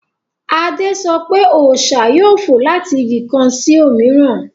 Adé sọ pé, Ọṣà yóò fò láti Igi kan sí òmíràn